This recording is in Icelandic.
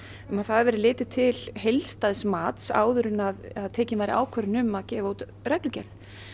um að það verði litið til heildstæðs mats áður en að tekin væri ákvörðun um að gefa út reglugerð